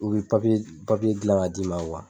U bɛ gilan k'a d'i ma